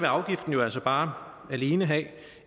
afgiften jo altså bare alene have